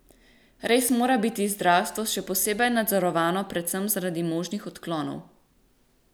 Res mora biti zdravstvo še posebej nadzorovano predvsem zaradi možnih odklonov.